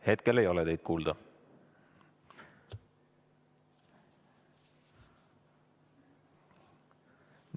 Hetkel ei ole teid kuulda.